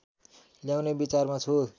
ल्याउने विचारमा छु